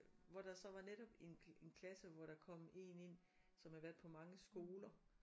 Hvor der så var netop en en klasse hvor der kom én ind som havde været på mange skoler